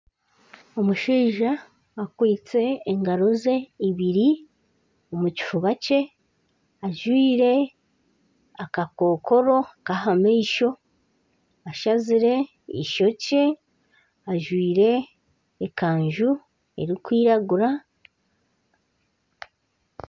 Omushaija akwitse engaro ze ibiri omukifubakye ajwire akakokoro kaha maisho ashazire ishokye ajwire ekanju erukwiragura .